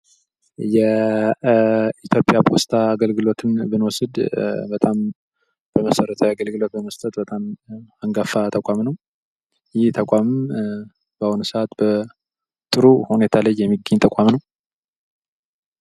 የኢትዮጵያ ፖስታ አገልግሎትን ብኖስድ በጣም በመሰረታዊ አገልግሎት በመስጠት በጣም አንጋፋ ተቋም ነው ይህ ተቋም በአሁኑ ሰዓት ጥሩ ሁኔታ ላይ የሚገኝ ተቋም ነው።